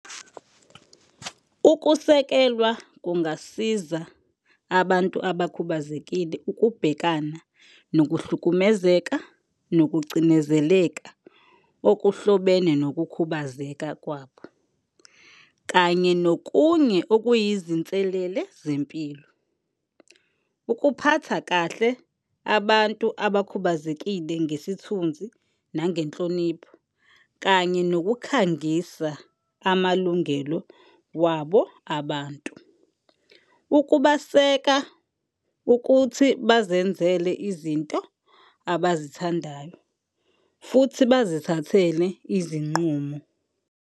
Ukusekelwa kungasiza abantu abakhubazekile ukubhekana nokuhlukumezeka nokucinezeleka okuhlobene nokukhubazeka kwabo kanye nokunye okuyizinselele zempilo. Ukuphatha kahle abantu abakhubazekile ngesithunzi nangenhlonipho kanye nokukhangisa amalungelo wabo abantu. Ukubaseka ukuthi bazenzele izinto abazithandayo futhi bazithathele izinqumo.